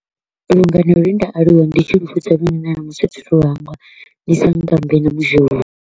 Lungano lwe nda aluwa ndi tshi lu lune na ṋamusi thi thu u lu hangwa ndi sankambe na mudzhou.